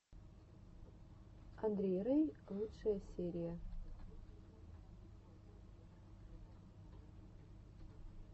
андрей рэй лучшая серия